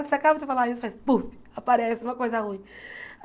Você acaba de falar isso e faz puf, aparece uma coisa ruim.